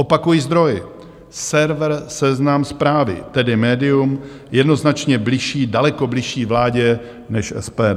Opakuji - zdroj server Seznam Zprávy, tedy médium jednoznačně bližší, daleko bližší vládě než SPD.